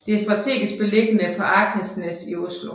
Den er strategisk beliggende på Akersnæs i Oslo